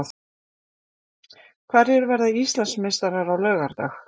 Hverjir verða Íslandsmeistarar á laugardag?